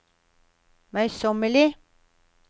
møysommelige